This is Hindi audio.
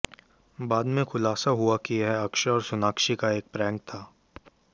बाद में खुलासा हुआ कि यह अक्षय और सोनाक्षी का एक प्रैंक था